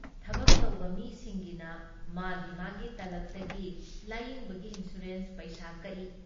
ꯊꯕꯛ ꯇꯧꯕ ꯃꯤꯁꯤꯡꯒꯤꯅ ꯃꯥꯒꯤ ꯃꯥꯒꯤ ꯇꯂꯕꯇꯒꯤ ꯂꯥꯌꯦꯡꯕꯒꯤ ꯏꯟꯁꯨꯔꯦꯟꯁ ꯄꯩꯁꯥ ꯀꯛꯏ ꯫